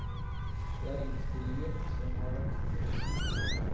Det er innspillinger som har vært gjort over tid.